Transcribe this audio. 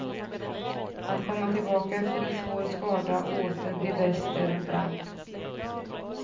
Att komma tillbaka efter en svår skada och åter bli bäst är en bragd.